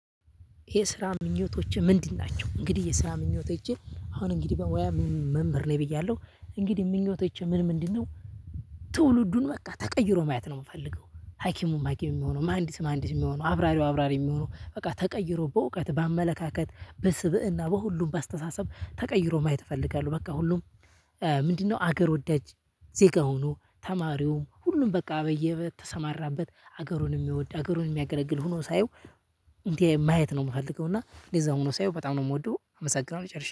የስራ ምኞቶችህ ምንድን ናቸው? እንግዲህ የስራ ምኞቶቼ አሁን እንግዲህ በሙያ ምን መምህር ነኝ ብያለሁ እንግዲህ ምኞቶቼ ምን ምንድነው? ትውልዱን በቃ ተቀይሮ ማየት ነው የምፈልገው ሀኪሙም ሀኪሙም የሚሆነው ማህንድስ ማህዲስ የሚሆነው አብራሪው አብራሪ የሚሆነው በቃ ተቀይሮ በእውቀት በአመለካከት በስብእና በሁሉም በአስተሳሰብ ተቀይሮ ማየት እፈልጋለሁ። በቃ ሁሉም ምንድነው አገር ወዳጅ ዜጋ ሆኖ ተማሪውም ሁሉም በቃ በየተሰማራበት ሀገሩን የሚወድ ሀገሩን የሚያገለግል ሆኖ ሳየው። እንዴ ማየት ነው የምፈልገው። እና እንደዛ ሆኖ ሳየው በጣም ነው የምወደው። አመሰግናለሁ ጨርሻለሁ